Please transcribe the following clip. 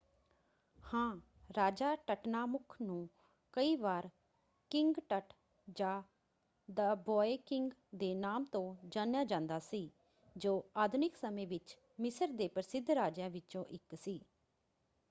ਹਾਂ! ਰਾਜਾ ਟਟਨਾਮੁਖ ਨੂੰ ਕਈ ਵਾਰ ਕਿੰਗ ਟਟ ਜਾਂ ਦ ਬੌਇ ਕਿੰਗ ਦੇ ਨਾਮ ਤੋਂ ਜਾਣਿਆ ਜਾਂਦਾ ਸੀ ਜੋ ਆਧੁਨਿਕ ਸਮੇਂ ਵਿੱਚ ਮਿਸਰ ਦੇ ਪ੍ਰਸਿੱਧ ਰਾਜਿਆਂ ਵਿੱਚੋਂ ਇੱਕ ਸੀ।